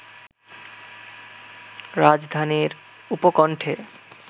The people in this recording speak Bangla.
রাজধানীর উপকণ্ঠে